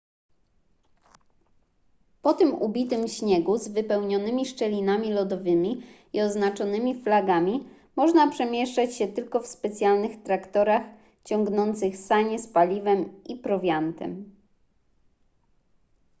po tym ubitym śniegu z wypełnionymi szczelinami lodowymi i oznaczonymi flagami można przemieszczać się tylko w specjalnych traktorach ciągnących sanie z paliwem i prowiantem